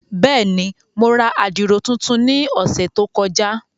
Bẹ́ẹ̀ni, Mo rà àdiro tuntun ni ọsẹ to kọja.